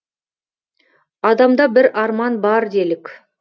адамда бір арман бар делік